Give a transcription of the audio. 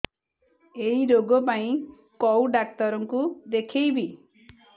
ଏଇ ରୋଗ ପାଇଁ କଉ ଡ଼ାକ୍ତର ଙ୍କୁ ଦେଖେଇବି